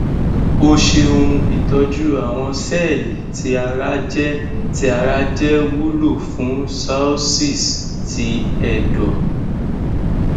o ṣeun itọju awọn sẹẹli ti ara jẹ ti ara jẹ wulo fun cirrhosis ti ẹdọ